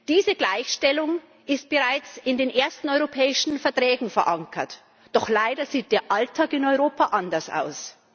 Diese Gleichstellung ist bereits in den ersten Europäischen Verträgen verankert, doch leider sieht der Alltag in Europa anders aus.